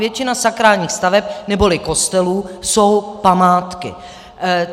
Většina sakrálních staveb neboli kostelů jsou památky.